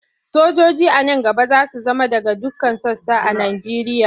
Sojoji a nan gaba za su zama daga dukkan sassa a Nigeria.